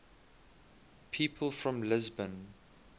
people from lisbon